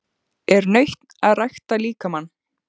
Er nautn að rækta líkamann?